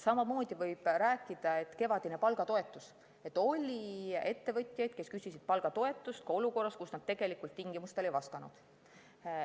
Samamoodi võib rääkida kevadisest palgatoetusest, et oli ettevõtjaid, kes küsisid palgatoetust ka olukorras, kus nad tegelikult tingimustele ei vastanud.